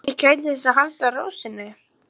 Svenni gætir þess að halda ró sinni.